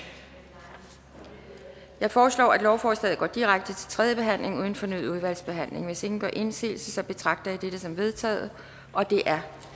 jeg foreslår at lovforslaget går direkte til tredje behandling uden fornyet udvalgsbehandling hvis ingen gør indsigelse betragter jeg dette som vedtaget det er